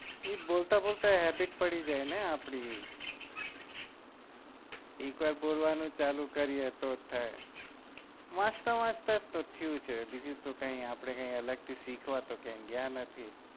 એ બોલતા બોલતા habit પડી જાય ને આપડી એક વાર બોલવા નું ચાલુ કરી એ તો જ થાય વાચતા વાચતા જ તો થયું છે બીજું તો આપડે કઈ અલગથી શીખવા ક્યાય ગયા નથી